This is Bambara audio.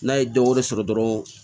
N'a ye dɔ wɛrɛ sɔrɔ dɔrɔn